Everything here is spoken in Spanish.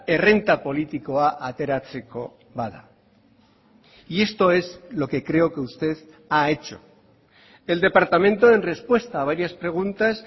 errenta politikoa ateratzeko bada y esto es lo que creo que usted ha hecho el departamento en respuesta a varias preguntas